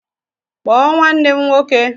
Kpọọ nwanne m nwoke